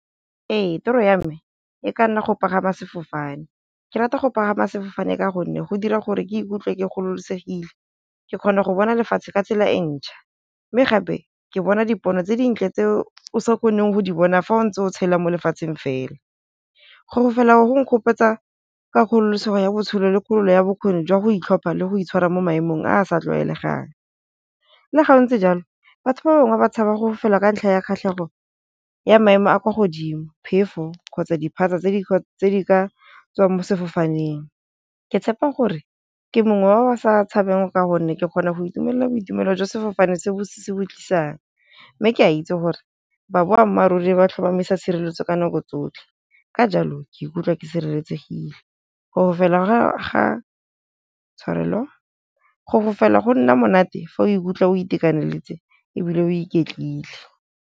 Ee toro ya me e ka nna go pagama sefofane, ke rata go pagama sefofane ka gonne go dira gore ke ikutlwe ke kgololosegile. Ke kgona go bona lefatshe ka tsela e ntšha, mme gape ke bona dipono tse dintle tse o sa kgoneng go di bona fa o ntse o tshelwang mo lefatsheng fela. Go fofela go nkgopotsa ka kgololosego ya botshelo le kgolo ya bokgoni jwa go itlhompha le go itshwara mo maemong a a sa tlwaelegang, le ga o ntse jalo batho ba bangwe ba tshaba gore fofela ka ntlha ya kgatlhego ya maemo a kwa godimo, phefo, kgotsa diphatsa tse di ka tswang mo sefofaneng. Ke tshepa gore ke mongwe wa ba sa tshabeng ka gonne ke kgona go itumella boitumelo jo sefofane se bo tlisang, mme ke a itse gore baboammaaruri ba tlhomamisa tshireletso ka nako tsotlhe ka jalo ke ikutlwa ke sireletsegile. Go fofela go nna monate fa o ikutlwa o itekanetse ebile o iketlile.